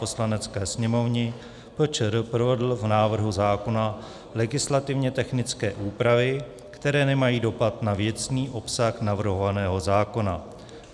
Poslanecké sněmovny PČR provedl v návrhu zákona legislativně technické úpravy, které nemají dopad na věcný obsah navrhovaného zákona.